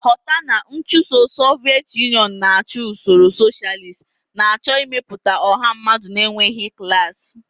Ghọta na nchụso Soviet Union na-achụ usoro socialist, na-achọ ịmepụta ọha mmadụ na-enweghị klas.